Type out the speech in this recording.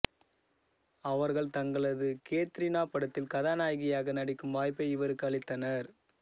அவர்கள் தங்களது கேத்ரீனா படத்தில் கதாநாயகியாக நடிக்கும் வாய்ப்பை இவருக்கு அளித்த்தனர்